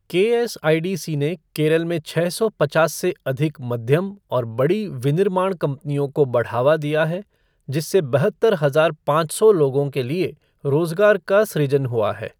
के S I D C ने केरल में छः सौ पचास से अधिक मध्यम और बड़ी विनिर्माण कंपनियों को बढ़ावा दिया है, जिससे बहत्तर हजार पाँच सौ लोगों के लिए रोजगार का सृजन हुआ है।